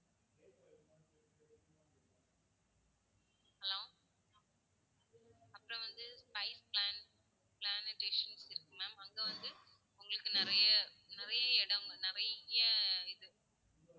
hello அப்பறம் வந்து spice plant~planetation இருக்கு ma'am அங்க வந்து உங்களுக்கு நிறைய நிறைய இடம் நிறைய இது